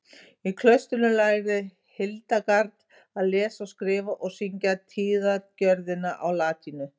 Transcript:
í klaustrinu lærði hildegard að lesa og skrifa og syngja tíðagjörðina á latínu